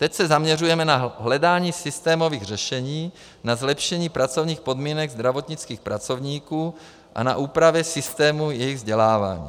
Teď se zaměřujeme na hledání systémových řešení, na zlepšení pracovních podmínek zdravotnických pracovníků a na úpravy systému jejich vzdělávání.